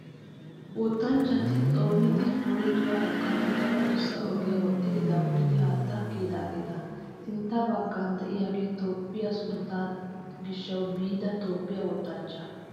Wottanchchati xoonidi woyituwaa ekkanawu daro adussa ogiyaa woxxidi daapuridi haatta kiyidaageeta. Sintta baggan diyaagee Toophphiyaa sunttaa gishshawu biida Toophphiyaa wottanchchaa.